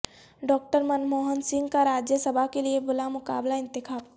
doctor Manmohan Singh کا راجیہ سبھا کیلئے بلامقابلہ انتخاب